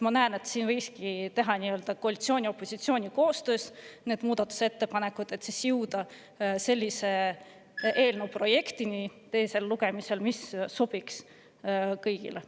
Ma näen, et koalitsioon ja opositsioon võiksidki koostöös teha muudatusettepanekuid, et jõuda teiseks lugemiseks sellise eelnõu projektini, mis sobiks kõigile.